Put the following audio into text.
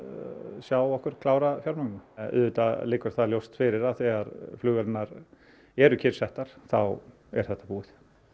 sjá okkur klára fjármögnunina auðvitað liggur það ljóst fyrir að þegar flugvélarnar eru kyrrsettar þá er þetta búið